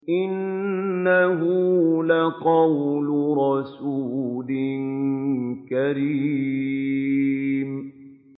إِنَّهُ لَقَوْلُ رَسُولٍ كَرِيمٍ